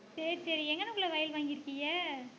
சரி சரி எங்கனக்குள்ள வயல் வாங்கி இருக்கீங்க